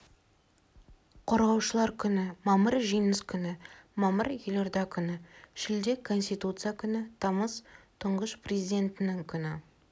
қорғаушылар күні мамыр жеңіс күні мамыр елорда күні шілде конституция күні тамыз тұңғыш президентінің күні